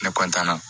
Ne na